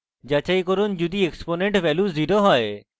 যাচাই করুন যদি exponent value 0 হয়